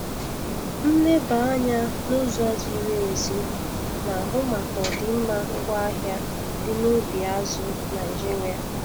Nleba anya n'ụzọ ziri ezi na-ahụ maka ọdịmma ngwaahịa dị n'ubi azụ̀ Naịjiria.